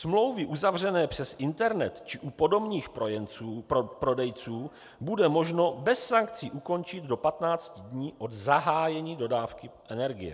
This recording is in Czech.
Smlouvy uzavřené přes internet či u podomních prodejců bude možno bez sankcí ukončit do 15 dní od zahájení dodávky energie.